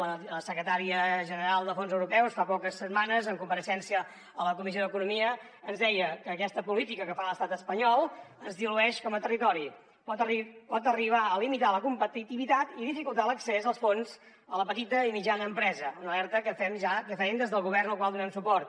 la secretària d’afers econòmics i de fons europeus fa poques setmanes en compareixença a la comissió d’economia ens deia que aquesta política que fa l’estat espanyol ens dilueix com a territori i pot arribar a limitar la competitivitat i dificultar l’accés als fons a la petita i mitjana empresa una alerta que fèiem ja des del govern al qual donem suport